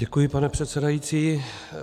Děkuji, pane předsedající.